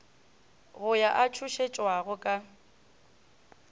go yo a tšhošetšwago ka